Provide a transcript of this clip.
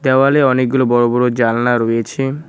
দেওয়ালে অনেকগুলো বড় বড় জালনা রয়েছে।